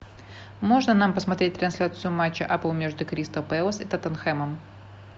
можно нам посмотреть трансляцию матча апл между кристал пэлас и тоттенхэмом